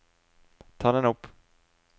ta den opp